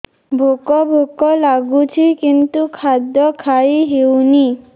ଭୋକ ଭୋକ ଲାଗୁଛି କିନ୍ତୁ ଖାଦ୍ୟ ଖାଇ ହେଉନି